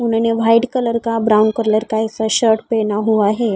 उन्होंने white colour का brown colour का ऐसा शर्ट पहना हुआ है।